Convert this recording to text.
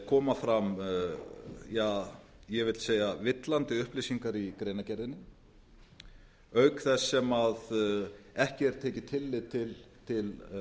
koma fram ég vil segja villandi upplýsingar í greinargerðinni auk þess sem ekki er tekið tillit til